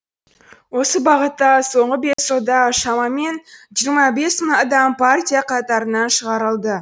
осы бағытта соңғы бес жылда шамамен жиырма бес мың адам партия қатарынан шығарылды